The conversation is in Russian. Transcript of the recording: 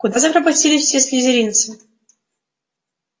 куда запропастились все слизеринцы